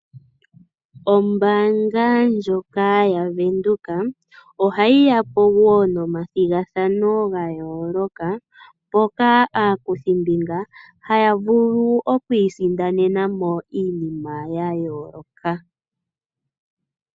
Ombaanga ndjoka ya venduka ohayi yapo wo nomathigathano ga yooloka mpoka aakuthi mbinga haya vulu oku isindanena iinima ya yooloka.